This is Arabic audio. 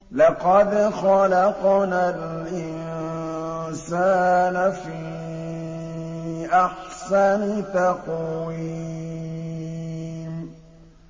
لَقَدْ خَلَقْنَا الْإِنسَانَ فِي أَحْسَنِ تَقْوِيمٍ